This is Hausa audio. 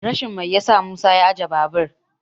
rashin mai ya sa musa ajiye babur